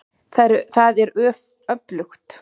Það er öflugt.